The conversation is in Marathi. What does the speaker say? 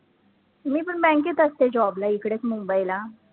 मी पण bank त असते job ला इकडेच मुंबईला